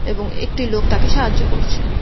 এবং একটি লোক তাকে সাহায্য করছে।